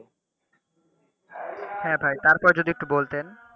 হ্যাঁ ভাই তারপর যদি একটু বলতেন।